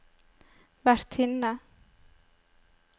vertinne